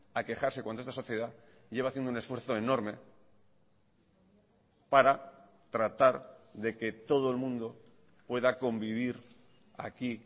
a quejarse cuando esta sociedad lleva haciendo un esfuerzo enorme para tratar de que todo el mundo pueda convivir aquí